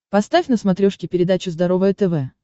поставь на смотрешке передачу здоровое тв